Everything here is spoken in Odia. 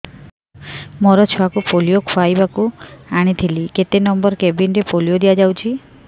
ମୋର ଛୁଆକୁ ପୋଲିଓ ଖୁଆଇବାକୁ ଆଣିଥିଲି କେତେ ନମ୍ବର କେବିନ ରେ ପୋଲିଓ ଦିଆଯାଉଛି